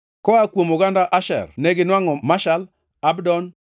koa kuom oganda Asher neginwangʼo Mashal, Abdon,